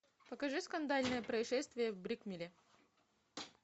покажи скандальное происшествие в брикмилле